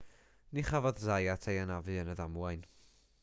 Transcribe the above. ni chafodd zayat ei anafu yn y ddamwain